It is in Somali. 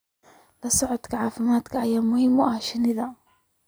La socodka caafimaadka ayaa muhiim u ah shinnida.